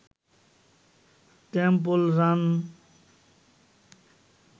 temple run